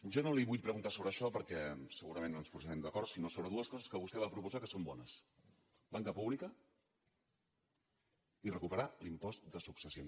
jo no li vull preguntar sobre això perquè segurament no ens posarem d’acord sinó sobre dues coses que vostè va proposar que són bones banca pública i recuperar l’impost de successions